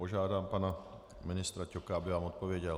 Požádám pana ministra Ťoka, aby vám odpověděl.